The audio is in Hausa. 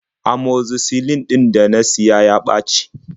Amoxicillin ɗin da na siya ya ɓaci.